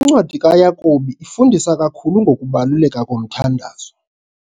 Incwadi kaYakobi ifundisa kakhulu ngokubaluleka komthandazo.